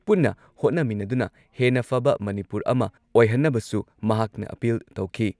ꯄꯨꯟꯅ ꯍꯣꯠꯅꯃꯤꯟꯅꯗꯨꯅ ꯍꯦꯟꯅ ꯐꯕ ꯃꯅꯤꯄꯨꯔ ꯑꯃ ꯑꯣꯏꯍꯟꯅꯕꯁꯨ ꯃꯍꯥꯛꯅ ꯑꯥꯄꯤꯜ ꯇꯧꯈꯤ ꯫